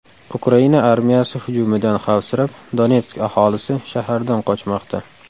Ukraina armiyasi hujumidan xavfsirab, Donetsk aholisi shahardan qochmoqda.